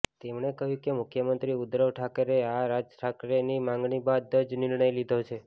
તેમણે કહ્યું કે મુખ્યમંત્રી ઉદ્ધવ ઠાકરેએ રાજ ઠાકરેની માંગણી બાદ જ આ નિર્ણય લીધો છે